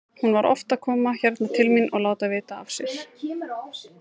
Hún var oft að koma hérna til mín og láta vita af sér.